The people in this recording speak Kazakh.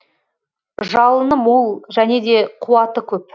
жалыны мол және де қуаты көп